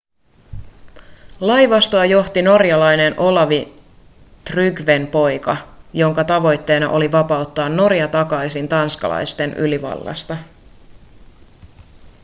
laivastoa johti norjalainen olavi tryggvenpoika jonka tavoitteena oli vapauttaa norja takaisin tanskalaisten ylivallasta